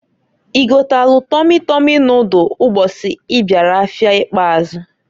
I gotalụ Tọmi tọmi nodul mbọsị ị bịara afịa ikpazụ.